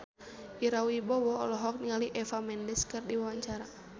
Ira Wibowo olohok ningali Eva Mendes keur diwawancara